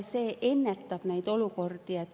See ennetab neid olukordi.